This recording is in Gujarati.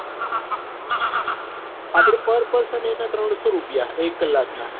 આપડે par person એના ત્રણસો રૂપિયા એક કલાક ના